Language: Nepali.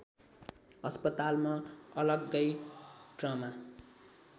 अस्पतालमा अलग्गै ट्रमा